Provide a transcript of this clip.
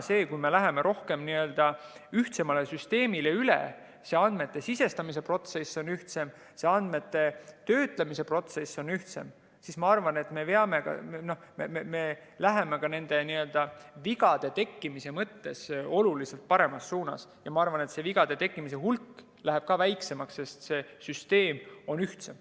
Kui me läheme ühtsemale süsteemile üle, andmete sisestamise protsess on ühtsem, andmete töötlemise protsess on ühtsem, siis, ma arvan, me läheme ka vigade tekkimise mõttes oluliselt paremas suunas, ma arvan, et vigade tekkimise hulk läheb ka väiksemaks, sest süsteem on ühtsem.